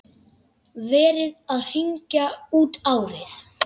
Verið að hringja út árið.